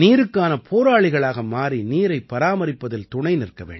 நீருக்கான போராளிகளாக மாறி நீரைப் பராமரிப்பதில் துணைநிற்க வேண்டும்